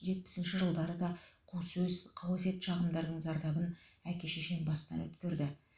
жетпісінші жылдары да қу сөз қауесет шағымдардың зардабын әке шешем бастан өткерді